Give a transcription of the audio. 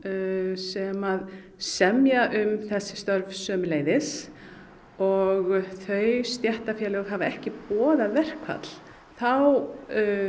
sem semja um þessi störf sömuleiðis og þau stéttarfélög hafa ekki boðað verkfall þá